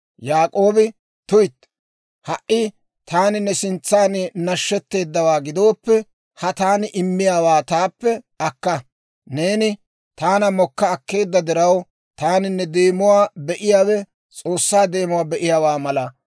Yaak'oobi, «Tuytti, ha"i taani ne sintsaan nashshetteedawaa gidooppe, ha taani immiyaawaa taappe akka. Neeni taana mokka akkeedda diraw, taani ne deemuwaa be'iyaawe S'oossaa deemuwaa be'iyaawaa mala.